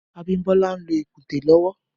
Abimbola n ló ikùnté lọwọ